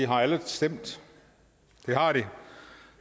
har alle stemt det har de